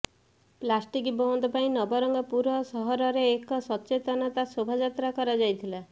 plastic ବନ୍ଦ୍ ପାଇଁ ନବରଙ୍ଗପୁର ସହରରେ ଏକ ସଚେତନତା ଶୋଭାଯାତ୍ରା କରାଯାଇଥିଲା